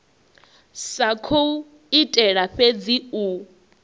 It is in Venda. sa khou itela fhedzi u